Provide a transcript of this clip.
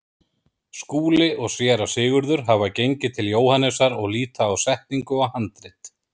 Skúli og Séra Sigurður hafa gengið til Jóhannesar og líta á setningu og handrit.